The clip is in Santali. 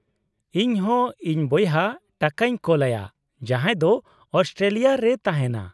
-ᱤᱧ ᱦᱚᱸ ᱤᱧ ᱵᱚᱭᱦᱟ ᱴᱟᱠᱟᱧ ᱠᱳᱞᱟᱭᱟ, ᱡᱟᱦᱟᱸᱭ ᱫᱚ ᱚᱥᱴᱨᱮᱞᱤᱭᱟ ᱨᱮᱭ ᱛᱟᱦᱮᱸᱱᱟ ᱾